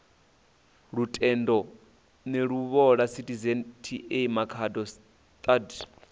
lutendo neluvhola citizen ta makhado stud